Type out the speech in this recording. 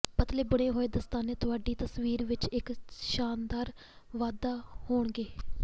ਪਤਲੇ ਬੁਣੇ ਹੋਏ ਦਸਤਾਨੇ ਤੁਹਾਡੀ ਤਸਵੀਰ ਵਿੱਚ ਇੱਕ ਸ਼ਾਨਦਾਰ ਵਾਧਾ ਹੋਣਗੇ